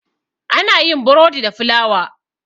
ana yin borodi da fulawa